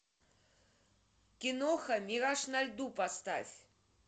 киноха мираж на льду поставь